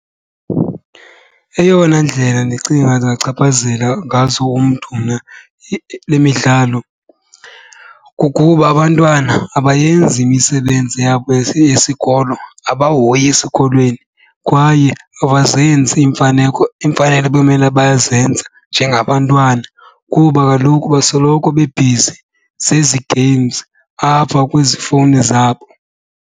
Eyona ndlela ndicinga zingachaphazela ngazo umntu mna le midlalo kukuba abantwana abayenzi imisebenzi yabo yesikolo, abahoyi esikolweni kwaye abazenzi iimfaneko iimfanelo ebemele bayazenza njengabantwana kuba kaloku basoloko bebhizi zezi games apha kwezi fowuni zabo.